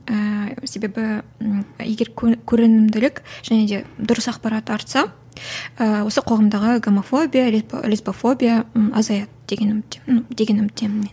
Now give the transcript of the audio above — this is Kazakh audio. ііі себебі і егер және де дұрыс ақпарат таратса ыыы осы қоғамдағы гомофобия лесбофобия ы азаяды деген үмітте деген үміттемін мен